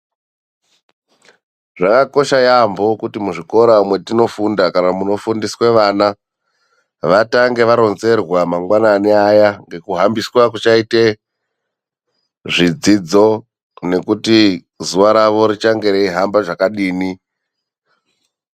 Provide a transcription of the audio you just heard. Zvakakosha yambo kuti muzvikora matofunda kana munofundiswa vana vatange varonzerwa mangwanani nekuhambiswa kuchaitwa zvidzidzo nekuti zuva ravo richange reihamba zvakadini.